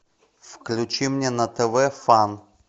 включи мне на тв фан